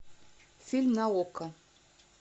фильм на окко